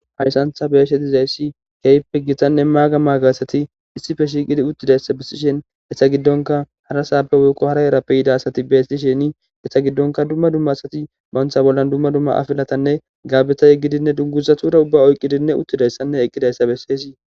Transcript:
hayssantha beeshetizayssi keyppe gitanne maaga maagaasati issife shiiqidi uttidayssa bessishen hessa giddonka hara saabe wiikqo hara erappe yida asati beesti sheni hessa giddonka dumma dumma asati bantha bollan dumma dumma afilatanne gaabetaye gidinne dunguzatura ubba oyqqidinne uttidayssanne eqqidayssa besseesii